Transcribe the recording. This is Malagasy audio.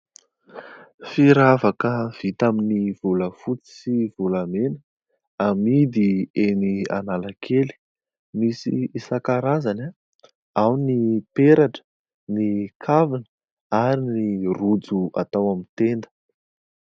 Firavaka vita amin'ny volafotsy sy volamena amidy eny Analakely, misy isankarazany ao ny peratra, ny kavina ary ny rojo atao amin'ny tenda.